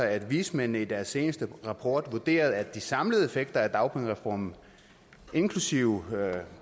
at vismændene i deres seneste rapport vurderede at de samlede effekter af dagpengereformen inklusive